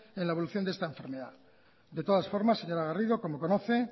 en la evolución de esta enfermedad de todas formas señora garrido como conoce